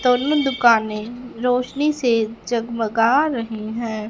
दोनों दुकाने रोशनी से जगमगा रही हैं।